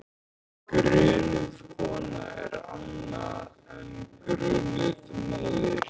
Grunuð kona er annað en grunuð móðir.